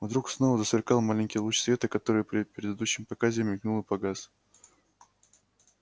вдруг снова засверкал маленький луч света который при предыдущем показе мелькнул и погас